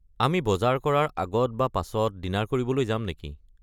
আমি বজাৰ কৰাৰ আগত বা পাছত ডিনাৰ কৰিবলৈ যাম নেকি?